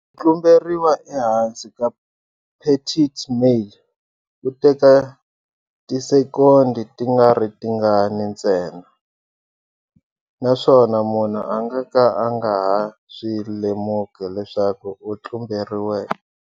Ku tlumberiwa ehansi ka phethithi male ku teka tisekondi tingaritingani ntsena, naswona munhu a nga ka a nga ha swi lemuki leswaku a tlumberiwe.